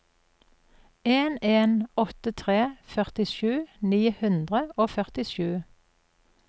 en en åtte tre førtisju ni hundre og førtisju